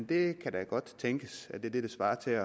det kan da godt tænkes at det her svarer til